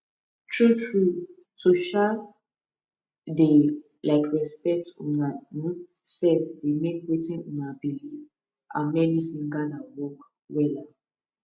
true trueto um dey um respect una um sef dey make wetin una believe and medicine gather work wella